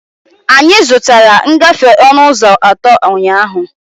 Anyị zụtara ngafe ọnụ ụzọ atọ ụnyahụ.